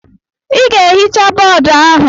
Ị ga-ehicha boodu ahụ!